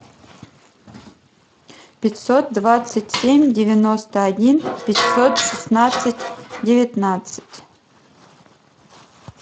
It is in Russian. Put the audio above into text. пятьсот двадцать семь девяносто один пятьсот шестнадцать девятнадцать